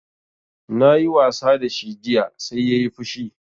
Na yi wasa da shi jiya sai yayi fushi